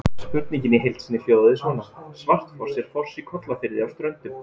Spurningin í heild sinni hljóðaði svona: Svartfoss er foss í Kollafirði á Ströndum.